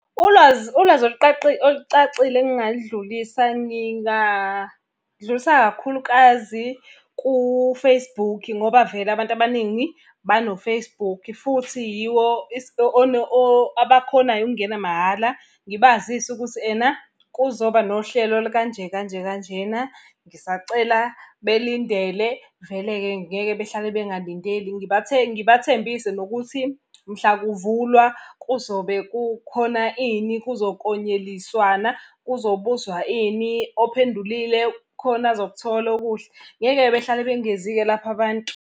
Ulwazi, ulwazi olucacile engingaludlulisa ngingadlulisa kakhulukazi ku-Facebook ngoba vele abantu abaningi bano-Facebook futhi yiwo abakhonayo ukungena mahhala. Ngibazise ukuthi ena kuzoba nohlelo olukanje kanje kanjena, ngisacela belindele vele-ke ngeke behlale bengalindeli. Ngibathembise nokuthi mhla kuvulwa kuzobe kukhona ini, kuzo konyeliswana, kuzobuzwa ophendulile khona azokuthola okuhle. Ngeke-ke behlale bengezi-ke lapho abantu.